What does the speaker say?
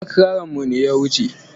Lakcaranmu ne ya wuce.